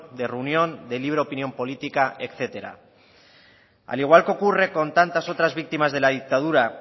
de reunión de libre opinión política etcétera al igual que ocurre con tantas otras víctimas de la dictadura